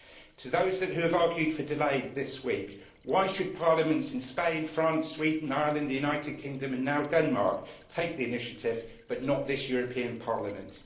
To those who have argued for delay this week, why should parliaments in Spain, France, Sweden, Ireland, the United Kingdom and now Denmark take the initiative, but not this European Parliament?